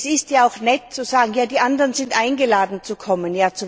Es ist ja auch nett zu sagen Ja, die anderen sind eingeladen, zu kommen.